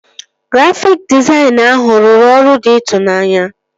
Grafịk dịzaịna ahụ rụrụ ọrụ dị ịtụnanya